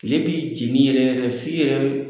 Tile b'i jeni yɛrɛ yɛrɛ f'i yɛrɛ